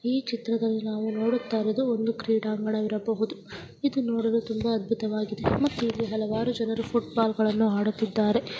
ಈ ಚಿತ್ರದಲ್ಲಿ ನಾವು ನೋಡುತ್ತಾ ಇರುವುದು ಒಂದು ಕ್ರೀಡಾಂಗಣ ಇರಬಹುದು ಇದು ನೋಡಲು ತುಂಬಾ ಅದ್ಭುತವಾಗಿದೆ ಮತ್ತು ಇಲ್ಲಿ ಹಲವಾರು ಜನಗಳು ಫುಟ್ಬಾಲ್ಗಳನ್ನು ಆಡುತ್ತಿದ್ದಾರೆ .